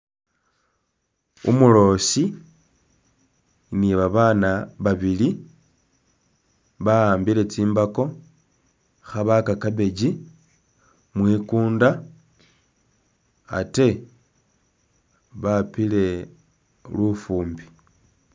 Umuloosi ni babaana babili ba'ambile tsimbako khabaaka cabbage mwikuunda ate bapile lufuumbi.